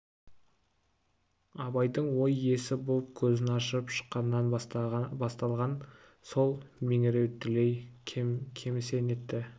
абайдың ой иесі боп көзін ашып шыққаннан басталған сол меңіреу дүлей кемісе нетті